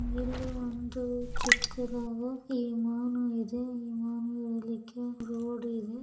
ಇಲ್ಲಿ ಒಂದು ಚಿಕ್ಕದಾದ ವಿಮಾನ ಇದೇ ಈ ವಿಮಾನ ರೋಡ್ ಇದೆ.